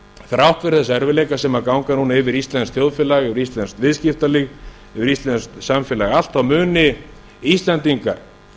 þrátt fyrir þessa erfiðleika sem ganga núna yfir íslenskt þjóðfélag og íslenskt viðskiptalíf yfir íslenskt samfélag allt þá munu íslendingar